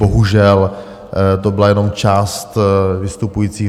Bohužel to byla jenom část vystupujících.